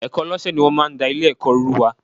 Ẹ̀ẹ̀kan lọ́sẹ̀ ni wọ́n máa ń da Ilé-ẹ̀kọ́ rú wa